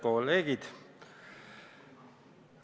Head kolleegid!